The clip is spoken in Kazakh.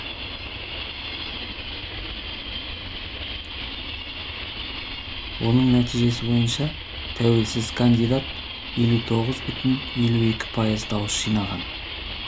оның нәтижесіне бойынша тәуелсіз кандидат елу тоғыз бүтін елу екі пайыз дауыс жинаған